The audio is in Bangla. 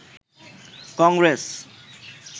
কংগ্রেস